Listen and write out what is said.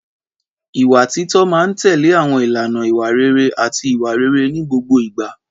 Ìwà títọ́ máa ń tẹ̀lé àwọn ìlànà ìwà rere àti ìwà rere ní gbogbo ìgbà.